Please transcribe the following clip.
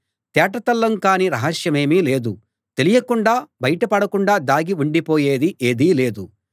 తేటతెల్లం కాని రహస్యమేదీ లేదు తెలియకుండా బయట పడకుండా దాగి ఉండిపోయేది ఏదీ లేదు